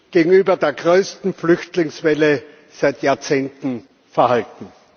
gegenüber der größten Flüchtlingswelle seit Jahrzehnten verhalten.